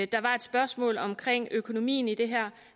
der var et spørgsmål omkring økonomien i det her